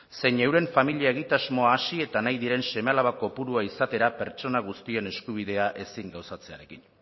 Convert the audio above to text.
zein euren familia egitasmoa hasi eta nahi diren seme alaba kopurua izatera pertsona guztien eskubidea ezin gauzatzearekin